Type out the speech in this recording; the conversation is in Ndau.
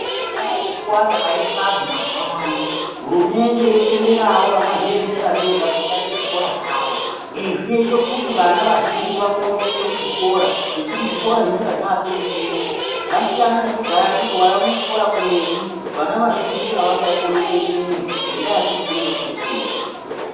Kudai ngekuwanda kwaite vanhu mazuuwa ano hurumende yotenderawo vakazviemerera vega kuti vaite zvikora zvavo izvi zvinoite kuti vana vazhinji vakone kuende kuzvikora ngekuti zvikora zvinonga zvapeshepeshe zvasiyana nekudhaya kuti waione chikora kuretu vana vazhinji avasaikone kuendeyo ngendaa yekuti kunonga kuri kuretu.